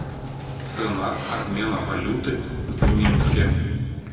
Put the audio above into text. цена обмена валюты в минске